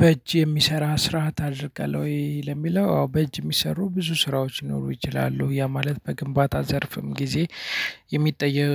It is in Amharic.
በእጅ የሚሰራ ስርዓት አድርገሀል ወይ? ለሚለው አዎ በእጅ የሚሰሩ ብዙ ስራዎች ሊኖሩ ይችላሉ። ያ ማለት በግንባታ ዘርፍም ጊዜ የሚጠየቅ